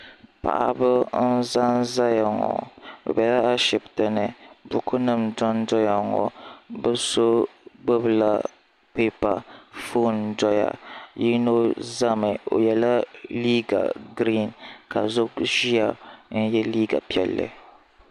paɣ' ba n zan zaya ŋɔ be bɛya ashɛbitɛni bukunim doni doya ŋɔ be so gbala pɛpa ƒɔni n doya yino zami o yɛla liga girini ka so gba ʒɛya n yɛ liga piɛli